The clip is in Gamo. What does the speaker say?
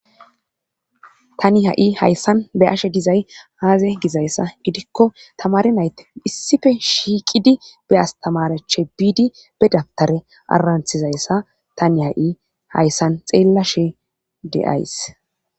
Tani ha'i hayssan be ashe dizay aaze gizayssa gidikko tamare nayte issife shiiqidi be astamareche biidi be dabtare aaranthizayssa tani ha'i hayssan xeella she de'ays.